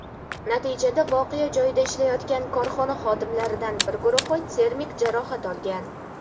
Natijada voqea joyida ishlayotgan korxona xodimlaridan bir guruhi termik jarohat olgan.